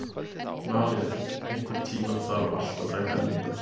Malía, einhvern tímann þarf allt að taka enda.